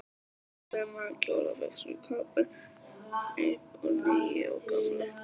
Saumaði kjóla, buxur og kápur upp úr nýju og gömlu.